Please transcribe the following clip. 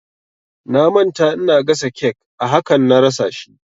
Na manta ina gasa cake a hakan na rasa shi